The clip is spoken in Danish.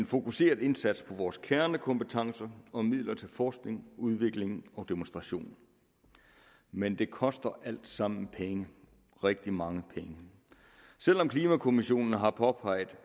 fokuseret indsats på vores kernekompetencer og midler til forskning udvikling og demonstration men det koster alt sammen penge rigtig mange penge selv om klimakommissionen har påpeget